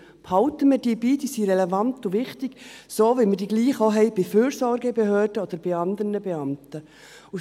Behalten wir diese bei, sie sind relevant und wichtig; so, wie wir die Gleichen auch bei Fürsorgebehörden oder bei anderen Beamten haben.